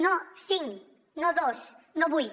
no cinc no dos no vuit